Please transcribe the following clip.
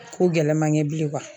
Ko gɛlɛmakɛ bilen